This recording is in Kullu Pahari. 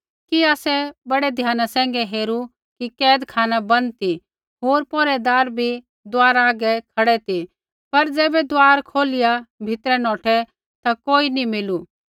कि आसै बड़ै ध्याना सैंघै हेरू कि कैदखाना बन्द ती होर पौहरैदार बी दुआरा हागै खड़ै ती पर ज़ैबै दुआर खोलिया भीतरै नौठै ता कोई नी मिलू